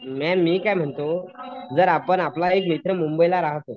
ma'am मी काय म्हणतो जर आपण आपला एक मित्र मुंबईला राहतो